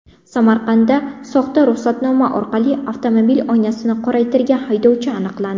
Samarqandda soxta ruxsatnoma orqali avtomobil oynasini qoraytirgan haydovchi aniqlandi.